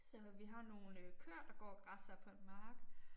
Så vi har nogle øh køer der går og græsser på en mark